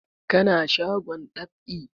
Ka na shagon dab'i?